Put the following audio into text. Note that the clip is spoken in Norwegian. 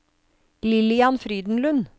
Lillian Frydenlund